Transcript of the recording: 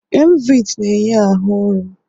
Emvitị na-enye ahụ nri.